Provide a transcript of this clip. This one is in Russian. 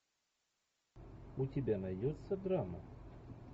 у тебя найдется драма